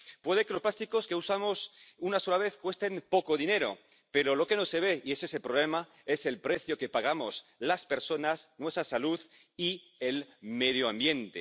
Puede que los plásticos que usamos una sola vez cuesten poco dinero, pero lo que no se ve —y ese es el problema— es el precio que pagamos las personas nuestra salud y el medio ambiente.